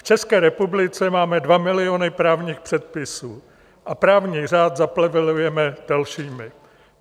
V České republice máme 2 miliony právních předpisů a právní řád zaplevelujeme dalšími.